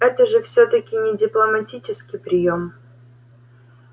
это же всё-таки не дипломатический приём